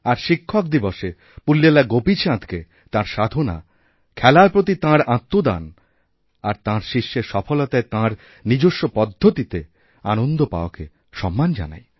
আর শিক্ষক দিবসে পুল্লেলা গোপীচাঁদকে তাঁর সাধনা খেলারপ্রতি তাঁর আত্মদান আর তাঁর শিষ্যের সফলতায় তাঁর নিজস্ব পদ্ধতিতে আনন্দ পাওয়াকেসম্মান জানাই